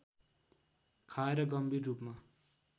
खाएर गम्भीर रूपमा